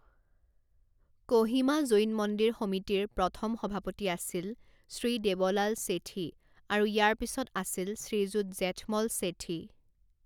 কোহিমা জৈন মন্দিৰ সমিতিৰ প্ৰথম সভাপতি আছিল শ্ৰী দেৱলাল ছেঠী আৰু ইয়াৰ পিছত আছিল শ্ৰীযুত জেঠমল ছেঠী।